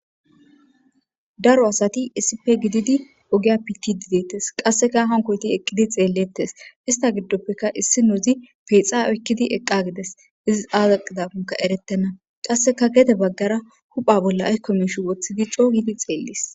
daro asati issipe gididi ogiya piti dideettes qasseka hankoyti eqqidi xeellettes ista giddoppeka issi nouzi peexa oykkidi eqqa gides izi aazaqidapunka eretena qasseka gede baggara hupha bolla aykko mish woththidi cohidi xeellis